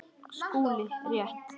SKÚLI: Rétt!